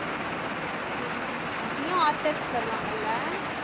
ஓஹோ அதுலயும் artist வருவாங்கல்ல